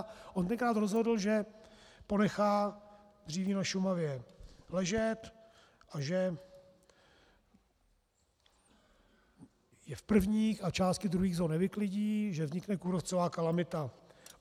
A on tenkrát rozhodl, že ponechá dříví na Šumavě ležet a že je v prvních a části druhých zón nevyklidí, že vznikne kůrovcová kalamita.